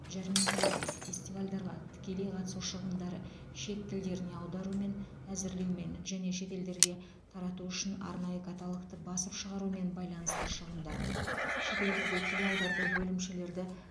жәрмеңкелерге фестивальдарға тікелей қатысу шығындары шет тілдеріне аударумен әзірлеумен және шетелдерде тарату үшін арнайы каталогты басып шығарумен байланысты шығындар шетелдерде филиалдарды бөлімшелерді